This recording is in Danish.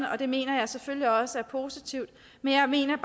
og det mener jeg selvfølgelig også er positivt men jeg mener